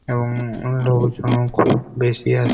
এবং লোকজন খুব বেশি আ--